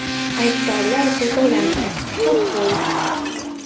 Aybdorlar jazolandi, sud bo‘ldi.